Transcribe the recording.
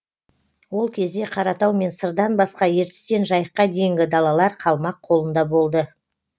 ол кезде қаратау мен сырдан басқа ертістен жайыққа дейінгі далалар қалмақ қолында болды